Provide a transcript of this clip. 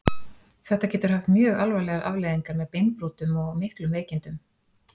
Þetta getur haft mjög alvarlegar afleiðingar með beinbrotum og miklum veikindum.